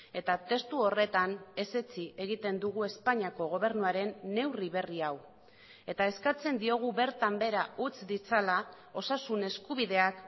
eta testu horretan ezetsi egiten dugu espainiako gobernuaren neurri berri hau eta eskatzen diogu bertan behera utz ditzala osasun eskubideak